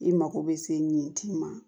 I mago bɛ se nin ti ma